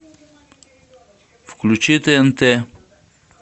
включи тнт